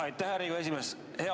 Aitäh, härra Riigikogu esimees!